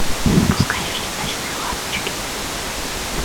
запускай фильм ночные ласточки